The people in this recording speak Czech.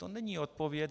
To není odpověď.